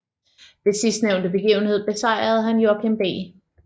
Ved sidstnævnte begivenhed besejrede han Joachim B